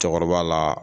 Cɛkɔrɔba la